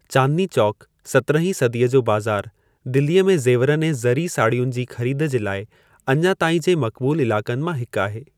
चांदनी चौंकु, सत्रहीं सदीअ जो बाज़ारु, दिल्लीअ में ज़ेवरनि ऐं ज़री साड़ियुनि जी ख़रीदु जे लाइ अञा ताईं जे मक़बूलु इलाक़नि मां हिकु आहे।